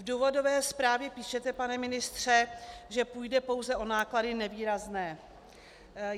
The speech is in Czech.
V důvodové zprávě píšete, pane ministře, že půjde pouze o náklady nevýrazné.